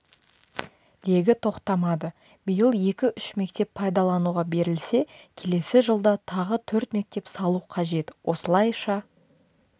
легі тоқтамады биыл екі-үш мектеп пайдалануға берілсе келесі жылда тағы төрт мектеп салу қажет осылайша